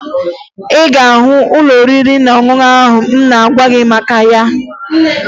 Ị ga-ahụ ụlọ oriri na ọṅụṅụ ahụ m na-agwa gị maka ya